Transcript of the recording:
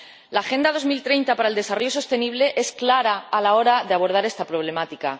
La Agenda 2030 para el desarrollo sostenible es clara a la hora de abordar esta problemática.